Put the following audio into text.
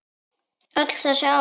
Öll þessi ár?